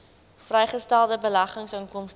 vrygestelde beleggingsinkomste